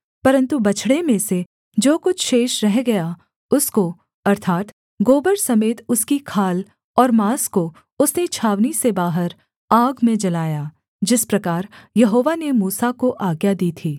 परन्तु बछड़े में से जो कुछ शेष रह गया उसको अर्थात् गोबर समेत उसकी खाल और माँस को उसने छावनी से बाहर आग में जलाया जिस प्रकार यहोवा ने मूसा को आज्ञा दी थी